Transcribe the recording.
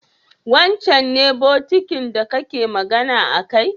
wancan ce bokitin da kake magana akai?